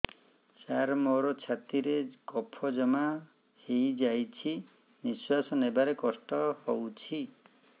ସାର ମୋର ଛାତି ରେ କଫ ଜମା ହେଇଯାଇଛି ନିଶ୍ୱାସ ନେବାରେ କଷ୍ଟ ହଉଛି